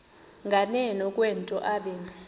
nganeno kwento obe